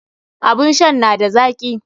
Abun shan na da zaki.